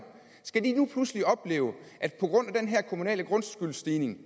nu pludselig opleve at på grund af den her kommunale grundskyldsstigning